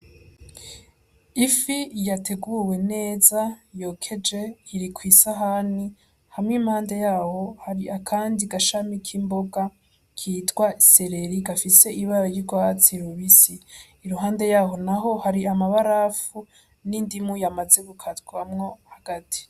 Ifi yateguwe neza yokeje iri kwi sahani hama impande yaho, hari akandi gashami k'imboga kitwa seleri gafise ibara ry'urwatsi rubisi, iruhande yaho n'aho hari amabarafu n'indimu yamaze gukatwamwo hagati.